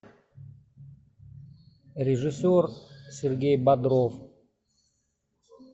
режиссер сергей бодров